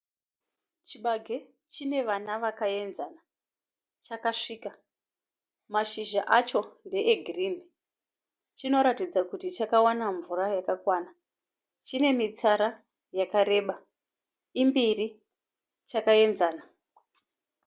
Chibage chine vana vakaenzana. Chakasvika, mashizha acho ndee girinhi. Chinoratidza kuti chakawana mvura yakakwana. Chine mitsara yakareba, imbiri chakaenzana.